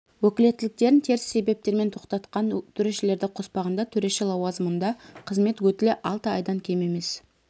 өкілеттіктерін теріс себептермен тоқтатқан төрешілерді қоспағанда төреші лауазымында қызмет өтілі алты айдан кем емес